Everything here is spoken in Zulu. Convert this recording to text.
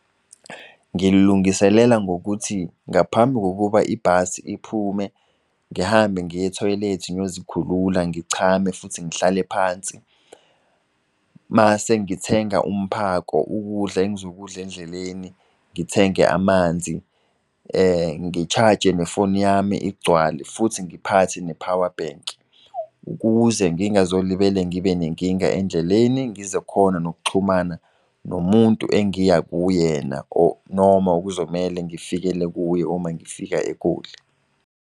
Ngil'lungiselela ngokuthi ngaphambi kokuba ibhasi iphume ngihambe ngiye-ethoyilethi ngiyozikhulula, ngichame futhi ngihlale phansi. Mase ngithenga umphako ukudla engizokudla endleleni, ngithenge amanzi ngi-charge nefoni yami igcwale futhi ngiphathe ne-power bank. Ukuze ngingazolibele ngibe nenkinga endleleni. Ngizokhona nokuxhumana nomuntu engiya kuyena or noma okuzomele ngifikele kuye uma ngifika eGoli.